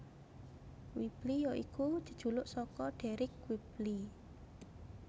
Whibley ya iku jejuluk saka Deryck Whibley